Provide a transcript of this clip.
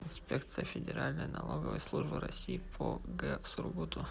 инспекция федеральной налоговой службы россии по г сургуту